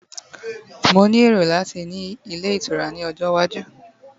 mo ni ero lati ni ile itura ni ojo iwaju